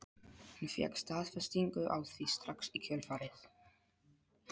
Hún fékk staðfestingu á því strax í kjölfarið.